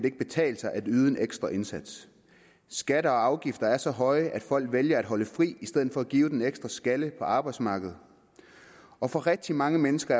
ikke betale sig at yde en ekstra indsats skatter og afgifter er så høje at folk vælger at holde fri i stedet for at give den en ekstra skalle på arbejdsmarkedet og for rigtig mange mennesker